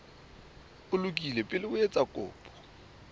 lokile pele o etsa kopo